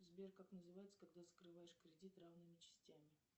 сбер как называется когда закрываешь кредит равными частями